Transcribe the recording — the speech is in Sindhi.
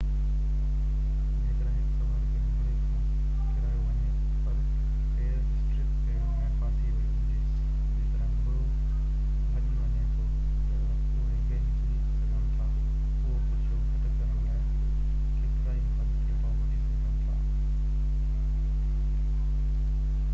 جيڪڏهن هڪ سوار کي گهوڙي کان ڪيرايو وڃي پر پير اسٽرپ ۾ ڦاسي ويو هجي جيڪڏهن گهوڙو ڀڄي وڃي ٿو ته اهي گهيلجي سگهن ٿا اهو خدشو گھٽ ڪرڻ لاءِ ڪيترائي حفاظتي اپاءَ وٺي سگهجن ٿا